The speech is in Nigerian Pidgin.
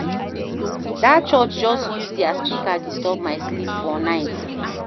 Dat church just use their speaker disturb my sleep for night.